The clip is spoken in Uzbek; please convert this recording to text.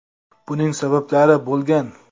Buning sabablari bo‘lgan.